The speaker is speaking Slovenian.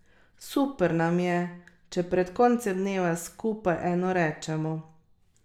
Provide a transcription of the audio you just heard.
Super nam je, če pred koncem dneva skupaj eno rečemo.